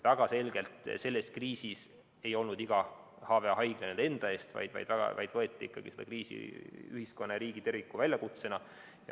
Väga selgelt ei seisnud selles kriisis iga HV‑haigla ainult enda eest, vaid ikkagi võeti seda kriisi ühiskonna ja riigi kui terviku väljakutsena.